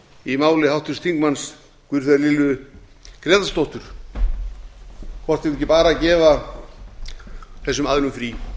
í máli háttvirts þingmanns guðfríðar lilju grétarsdóttur hvort við eigum ekki bara að gefa þessum aðilum frí